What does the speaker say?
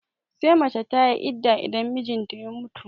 Sai mace tayi idda idan mijinta ya mutu